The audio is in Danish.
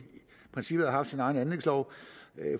have haft sin egen anlægslov